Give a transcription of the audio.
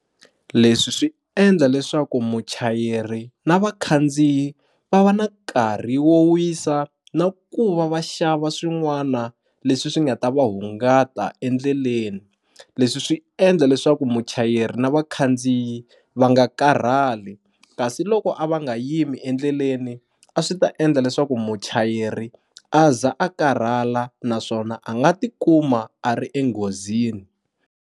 Leswi swi endla leswaku muchayeri na vakhandziyi va va na nkarhi wo wisa na ku va va xava swin'wana leswi swi nga ta va hungata endleleni leswi swi endla leswaku muchayeri na vakhandziyi va nga karhali kasi loko a va nga yimi endleleni a swi ta endla leswaku muchayeri a za a karhala naswona a nga ti kuma a ri enghozini.